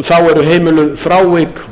þá eru heimiluð frávik